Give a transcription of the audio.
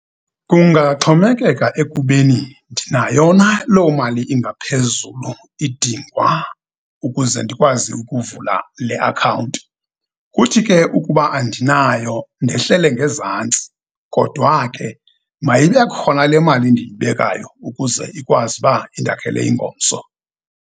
Kungaxhomekeka ekubeni ndinayo na loo mali ingaphezulu idingwa ukuze ndikwazi ukuvula le akhawunti. Kuthi ke, ukuba andinayo, ndehlele ngezantsi, kodwa ke, mayibe khona le mali ndiyibekayo ukuze ikwazi uba indakhele ingomso.